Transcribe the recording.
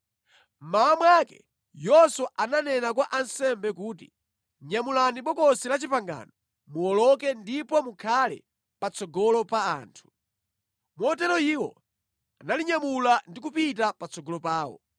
Mmawa mwake Yoswa ananena kwa ansembe kuti, “Nyamulani Bokosi la Chipangano muwoloke ndipo mukhale patsogolo pa anthu.” Motero iwo analinyamula ndi kupita patsogolo pawo.